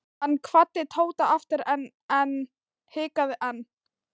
Hann kvaddi Tóta aftur EN en hikaði enn.